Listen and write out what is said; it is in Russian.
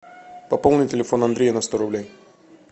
пополни телефон андрея на сто рублей